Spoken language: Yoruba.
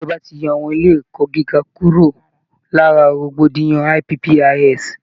Ìjọba ti yọ àwọn ilé ẹ̀kọ́ gíga kúrò lára rògbòdìyàn IPPIS